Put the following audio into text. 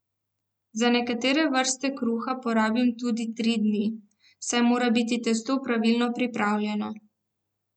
Za nekatere vrste kruha porabim tudi tri dni, saj mora biti testo pravilno pripravljeno.